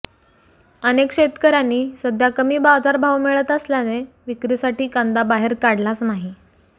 अनेक शेतकऱ्यांनी सध्या कमी बाजारभाव मिळत असल्याने विक्रीसाठी कांदा बाहेर काढलाच नाही